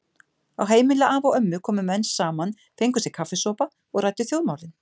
Á heimili afa og ömmu komu menn saman, fengu sér kaffisopa og ræddu þjóðmálin.